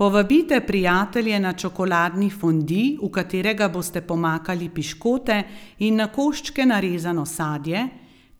Povabite prijatelje na čokoladni fondi, v katerega boste pomakali piškote in na koščke narezano sadje,